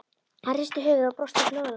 Hann hristi höfuðið og brosti góðlátlega.